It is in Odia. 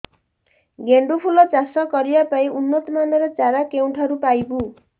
ଗେଣ୍ଡୁ ଫୁଲ ଚାଷ କରିବା ପାଇଁ ଉନ୍ନତ ମାନର ଚାରା କେଉଁଠାରୁ ପାଇବୁ